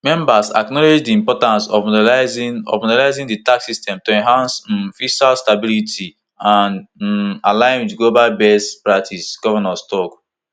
members acknowledged di importance of modernising of modernising di tax system to enhance um fiscal stability and um align with global best practices di govnors tok